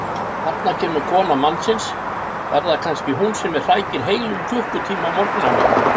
Þarna kemur kona mannsins, er það kannski hún sem hrækir heilum klukkutíma á morgnana?